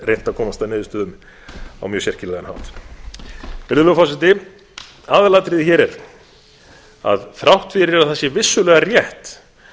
reynt að komast að niðurstöðu um á mjög sérkennilegan hátt virðulegur forseti aðalatriðið hér er að þrátt fyrir að það sé vissulega rétt